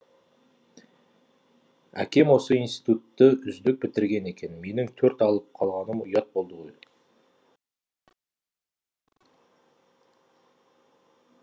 әкем осы институтты үздік бітірген екен менің төрт алып қалғаным ұят болды ғой